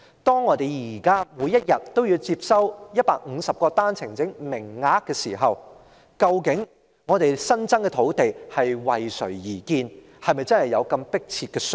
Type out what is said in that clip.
當我們現時每日要接收150個單程證名額時，我們新增的土地究竟是為誰而建，是否真的有迫切需要呢？